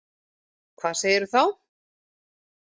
Hvað segirðu þá?